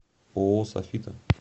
ооо софита